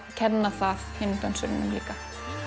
kenna það hinum dönsurunum líka